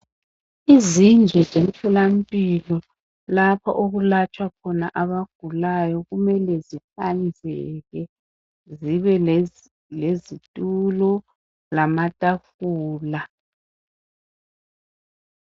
izindlu zemtholampilo lapho okulatshwa khona abagulayo kumele zihlanzeke zibe lezitulo lamatafula